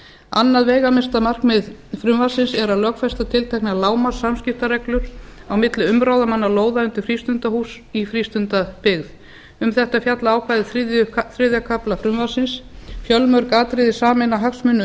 annað veigamesta markmið frumvarpsins er að lögfesta tilteknar lágmarkssamskiptareglur á milli umráðamanna lóða undir frístundahús í frístundabyggð um þetta fjallar ákvæði þriðja kafla frumvarpsins fjölmörg atriði sameina hagsmuni